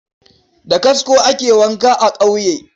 Da kasko ake wanka a ƙauye.